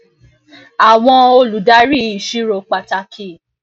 àwọn um olùdarí ìṣirò pàtàkì